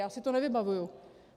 Já si to nevybavuji.